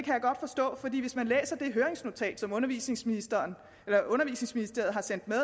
høringsnotat som undervisningsministeriet har sendt med